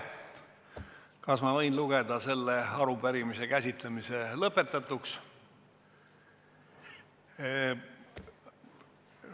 Kas ma võin lugeda selle arupärimise käsitlemise lõpetatuks?